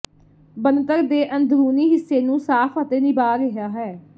ਬਣਤਰ ਦੇ ਅੰਦਰੂਨੀ ਹਿੱਸੇ ਨੂੰ ਸਾਫ਼ ਅਤੇ ਨਿਭਾ ਰਿਹਾ ਹੈ